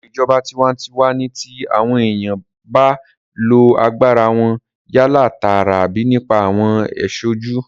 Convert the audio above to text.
Ètò ìjọba tinwatinwa ní ti àwọn èèyàn ba lo agbára wọn yálà tààrà àbí nípa àwọn aṣojú